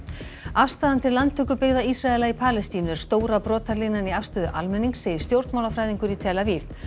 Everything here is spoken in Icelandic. afstaðan til landtökubyggða Ísraela í Palestínu er stóra brotalínan í afstöðu almennings segir stjórnmálafræðingur í tel Aviv